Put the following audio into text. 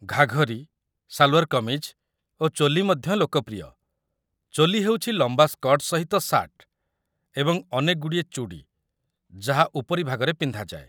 ଘାଘରି, ସାଲ୍‌ୱାର୍ କମିଜ୍ ଓ ଚୋଲି ମଧ୍ୟ ଲୋକପ୍ରିୟ ଚୋଲି ହେଉଛି ଲମ୍ବା ସ୍କର୍ଟ ସହିତ ସାର୍ଟ ଏବଂ ଅନେକଗୁଡ଼ିଏ ଚୁଡ଼ି, ଯାହା ଉପରି ଭାଗରେ ପିନ୍ଧାଯାଏ